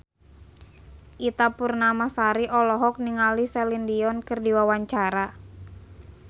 Ita Purnamasari olohok ningali Celine Dion keur diwawancara